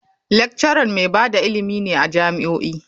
Lecturer mai ba da ilimi ne a jami'o'i.